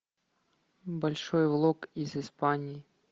большой влог из испании